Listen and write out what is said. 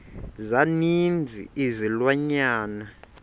za ninzi izilwanyana